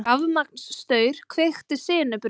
Rafmagnsstaur kveikti sinubruna